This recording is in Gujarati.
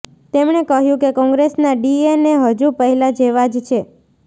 તેમણે કહ્યું કે કોંગ્રેસના ડીએનએ હજુ પહેલા જેવા જ છે